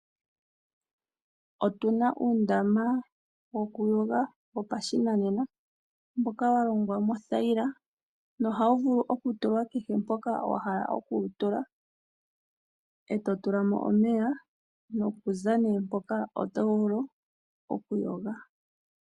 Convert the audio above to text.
Opuna uundama woku yoga wopashinanena . Mboka wa longwa mothayila nohawu vulu oku tulwa kehe mpoka wahala oku wu tula. Eto tulamo omeya noku za nee mpoka oto vulu oku yoga.